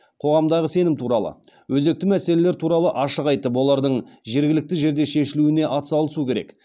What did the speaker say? қоғамдағы сенім туралы өзекті мәселелер туралы ашық айтып олардың жергілікті жерде шешілуіне атсалысу керек